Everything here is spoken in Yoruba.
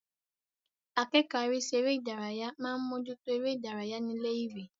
Akẹ́kọ̀ọ́ arísí eré ìdárayá máa ń mójú tó eré ìdárayá ní ilé-ìwé.